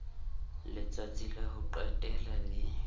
letsatsi la ho qetela le